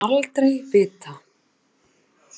Mun aldrei vita.